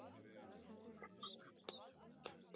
Er þetta satt? segir Kiddi.